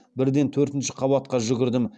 бірден төртінші қабатқа жүгірдім